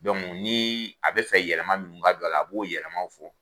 Donc ni a bɛ fɛ yɛlɛma minnu ka dion a la, a b'o yɛlɛmaw fɔ.